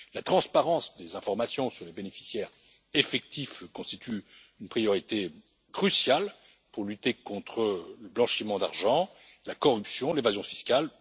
La transparence des informations sur les bénéficiaires effectifs constitue une priorité cruciale pour lutter contre le blanchiment d'argent, la corruption et l'évasion fiscale.